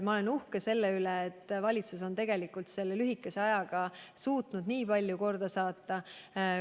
Ma olen uhke selle üle, et valitsus on lühikese ajaga suutnud nii palju korda saata.